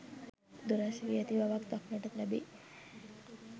දුරස් වී ඇති බවක් දක්නට ලැබේ.